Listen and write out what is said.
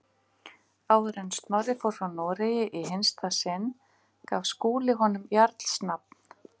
Áður en Snorri fór frá Noregi í hinsta sinn, gaf Skúli honum jarls nafn.